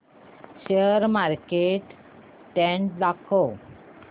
share market trend दाखव